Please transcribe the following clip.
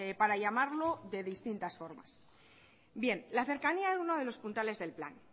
para llamarlo de distintas formas bien la cercanía de uno de los puntales del plan